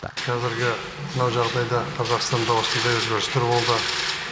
қазіргі мына жағдайда қазақстанда осындай өзгерістер болды